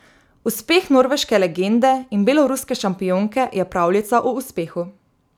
Uspeh norveške legende in beloruske šampionke je pravljica o uspehu.